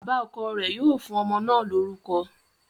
Bàbá ọkọ̀ rẹ̀ yóò fún ọmọ náà lórúkọ